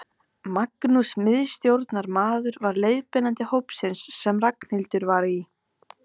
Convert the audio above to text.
Magnús miðstjórnarmaður var leiðbeinandi hópsins sem Ragnhildur var í.